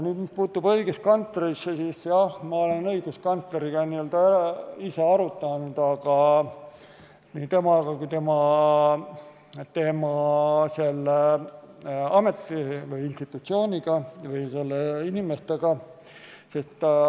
Mis puutub õiguskantslerisse, siis jah, ma olen õiguskantsleriga ise seda arutanud, nii tema kui ka institutsiooni inimestega.